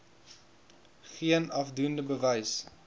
geen afdoende bewys